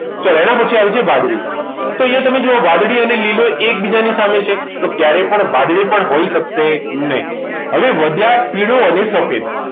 ચલો એના પછી આવે છે વાદળી તો અહીંયા તમે જુઓ વાદળી અને લીલો એ એકબીજાની સામે છે તો ક્યારેય પણ વાદળી હોઈ શકે નહીં હવે વધ્યા પીળો અને સફેદ